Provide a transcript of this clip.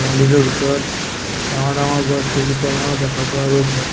মন্দিৰটোৰ ভিতৰত ডাঙৰ ডাঙৰ গছ কেইজোপামানো দেখা পোৱা গৈছে।